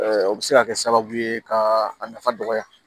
o bɛ se ka kɛ sababu ye ka a nafa dɔgɔya